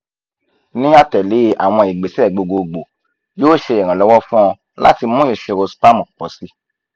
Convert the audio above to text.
ni atẹle awọn igbese gbogbogbo yoo ṣe iranlọwọ fun ọ lati mu iṣiro sperm pọ si